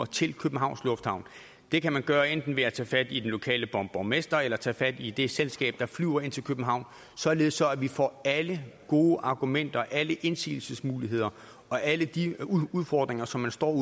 til københavns lufthavn det kan man gøre enten ved at tage fat i den lokale borgmester eller tage fat i det selskab der flyver ind til københavn således at vi får alle gode argumenter alle indsigelsesmuligheder og alle de udfordringer som man står over